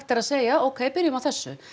er að segja ókei byrjum á þessu